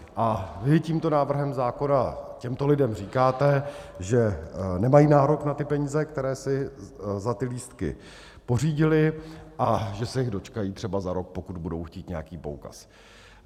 A vy tímto návrhem zákona těmto lidem říkáte, že nemají nárok na ty peníze, které si za ty lístky pořídili, a že se jich dočkají třeba za rok, pokud budou chtít nějaký poukaz.